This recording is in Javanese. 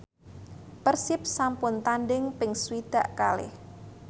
Persib sampun tandhing ping swidak kalih